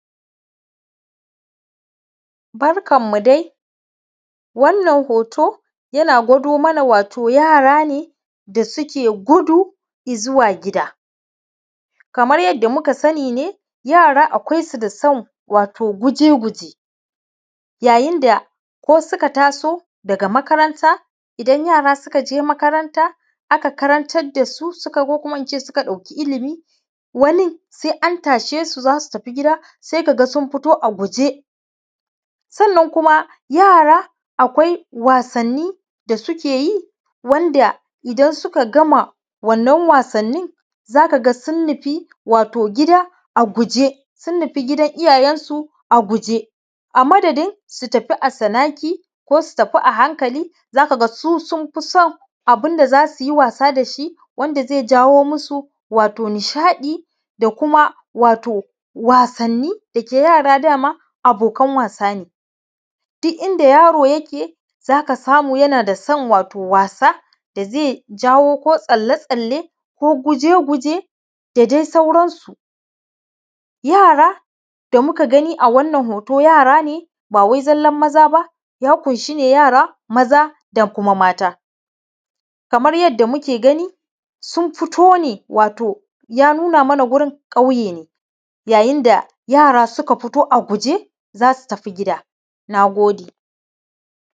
Barkanmu dai, wannan hoto yana gwado mana wato, yara ne da suke gudu zuwa gida. Kamar yadda muka sani ne, yara akwai su da son wato guje-guje yayin da ko suka taso daga makaranta, idan yara suka je makaranta aka karantar da su, ko kuma in ce suka ɗauka ilimi wani sa’a su an tashe su, za su tafi gida. sai ka ga sun fito a guje. Sannan yara akwai wasanni da suke yi wanda idan suka gama wannan wasannin, za ka ga sun nufi wato gida a guje, sun nufi gidan iyayensu a guje. amadadin su tafi a tsanaki, ko su tafi a hankali za ka ga su sun fi son abun da za su yi wasa da shi, wanda ze jawo musu wato nishaɗi, da kuma wasanni da yara ma abokan wasa ne, duk inda yaro yake za ka samu wato yana da son wasa, da ze jawo, ko tsalle-tsalle, ko guje-guje, da dai sauransu. Yara da muka gani a wannan hoto, yara ne ba wai zallan maza ba ya ƙunshi ne yara maza da kuma mata, kamar yadda muke gani, sun fito ne, ya nuna mana wato wurin ƙauye ne, yayin da yara suka fito a guje za su tafi gida. Na gode.